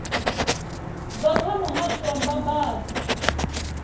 bva kha muhasho wa mbambadzo